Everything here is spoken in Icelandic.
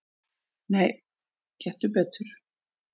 """Nei, gettu betur"""